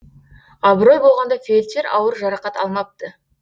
абырой болғанда фельдшер ауыр жарақат алмапты